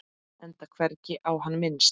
Enda hvergi á hann minnst.